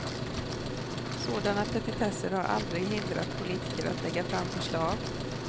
Sådana petitesser har aldrig hindrat politiker att lägga fram förslag.